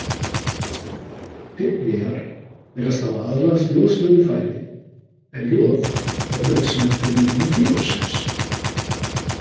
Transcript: Pygmýar virðast hafa aðlagast joðsnauðu fæði en joð er nauðsynlegt fyrir myndun þýroxíns.